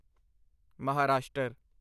Maharashtra